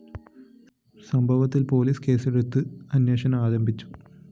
സംഭവത്തില്‍ പോലീസ് കേസെടുത്ത് അന്വേഷണം ആരംഭിച്ചു